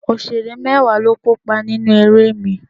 Òṣèré mẹ́wàá ló kópa nínú eré mi